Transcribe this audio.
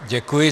Děkuji.